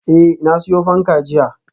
Eh, na siyo fanka jiya